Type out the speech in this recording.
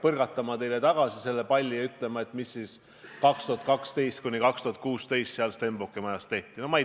Põrgatama selle palli teile tagasi ja ütlema, et mis siis 2012–2016 seal Stenbocki majas tehti?